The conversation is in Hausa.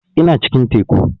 Ina cikin teku